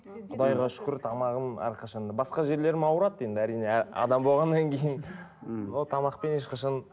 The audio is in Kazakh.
құдайға шүкір тамағым әрқашан да басқа жерлерім ауырады енді әрине адам болғаннан кейін мхм тамақпен ешқашан